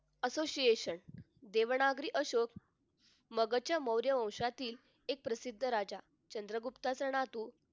association Devanagari Ashok मगच्या मौर्य वंशातील चंद्रगुप्ताचा नातू